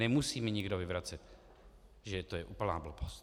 Nemusí mi nikdo vyvracet, že to je úplná blbost.